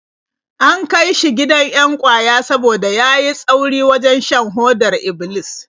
An kai shi gidan 'yan ƙwaya saboda ya yi tsauri wajen shan hodar Iblis.